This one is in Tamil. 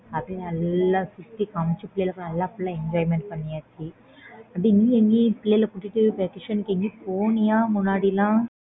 அப்பிடியே நல்லா சுத்தி காமிச்சு பிள்ளைகளுக்கு நல்லா full enjoyment பண்ணியாச்சு அப்பிடியே நீ எங்கயும் பிள்ளைங்கள கூட்டிட்டு vacation எங்கயும் போனியா முன்னாடி லாம்